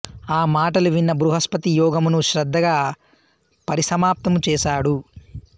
ఆ మాటలు విన్న బృహస్పతి యోగమును శ్రద్ధగా పరిసమాప్తము చేసాడు